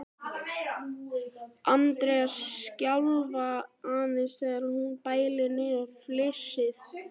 Andreu skjálfa aðeins þegar hún bælir niður flissið.